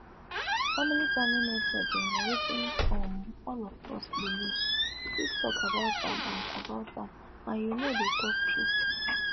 family planning method dem na wetin um all of us dey nid free talk about am and about am and you know dey talk truth